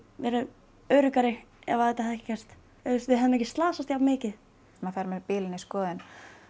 verið öruggari ef að þetta hefði ekki gerst við hefðum ekki slasast jafn mikið maður fer með bílinn í skoðun